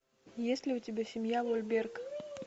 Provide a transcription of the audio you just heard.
есть ли у тебя семья вольберг